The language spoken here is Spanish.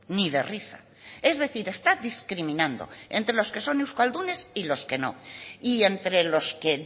ni de risa es decir está discriminando entre los que son euskaldunes y los que no y entre los que